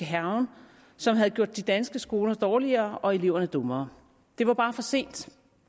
hærgen som havde gjort de danske skoler dårligere og eleverne dummere det var bare for sent